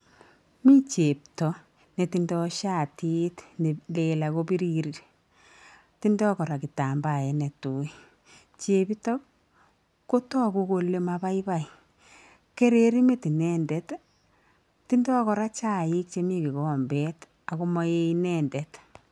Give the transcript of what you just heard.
Mi chepto ne tindo shatit ne neel ako birir, tindoi kora kitambaet ne tui, chepito kotoku kole mabaibai, kereri met inendet, tindoi kora chaik chemi kikombet ako maee inendet.